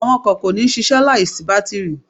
Àwọn ọkọ̀ kò ní ṣiṣẹ́ láì sí bátírì.